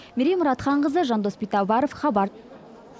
мерей мұратханқызы жандос битабаров хабар